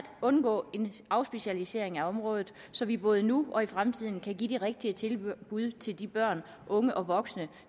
undgå en afspecialisering på området så vi både nu og i fremtiden kan give de rigtige tilbud til de børn unge og voksne